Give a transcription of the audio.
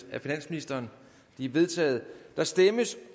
af finansministeren de er vedtaget der stemmes